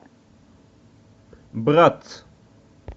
брат